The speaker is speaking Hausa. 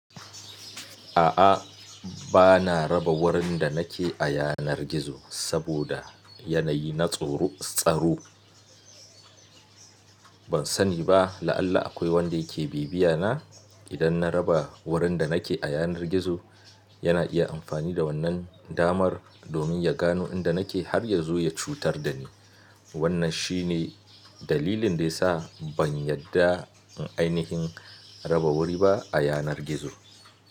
A'a, bana raba wurin da nake a yanar gizo saboda yanayi na tsaro. Ban sani ba la'alla akwai wanda yake bibiyana. Idan na raba wurin da nake a yanar gizo, yana iya amfani da wannan damar domin ya gano inda nake har ya zo ya cutar da ni. Wannan shi ne dalilin da ya sa ban yadda in ainihin raba wuri ba a yanar gizo.